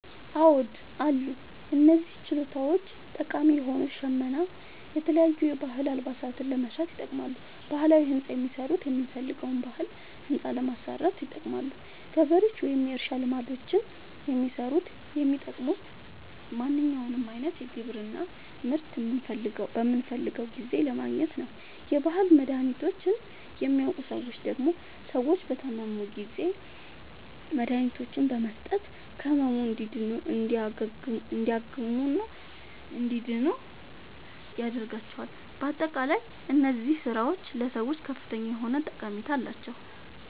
አዎድ አሉ። እነዚህ ችሎታዎች ጠቃሚ የሆኑት ሸመና የተለያዩ የባህል አልባሳትን ለመስራት ይጠቅማሉ። ባህላዊ ህንፃ የሚሠሩት የምንፈልገዉን ባህላዊ ህንፃ ለማሠራት ይጠቅማሉ። ገበሬዎች ወይም የእርሻ ልማዶችን የሚሠሩት የሚጠቅሙት ማንኛዉንም አይነት የግብርና ምርት በምንፈልገዉ ጊዜ ለማግኘት ነዉ። የባህል መድሀኒቶችን የሚያዉቁ ሠዎች ደግሞ ሰዎች በታመሙ ጊዜ መድሀኒቶችን በመስጠት ከህመሙ እንዲያግሙና እንዲድኑ ያደርጓቸዋል። በአጠቃላይ እነዚህ ስራዎች ለሰዎች ከፍተኛ የሆነ ጠቀሜታ አላቸዉ።